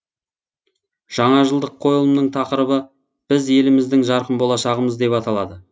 жаңажылдық қойылымның тақырыбы біз еліміздің жарқын болашағымыз деп аталады